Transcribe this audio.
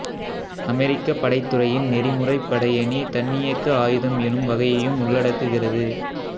அமெரிக்கப் படைத்துறையின் நெறிமுறை படையணித் தன்னியக்க ஆயுதம் எனும் வகையையும் உள்ளடக்குகிறது